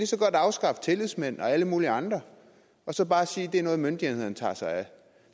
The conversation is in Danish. så godt afskaffe tillidsmænd og alle mulige andre og så bare sige at det er noget myndighederne tager sig af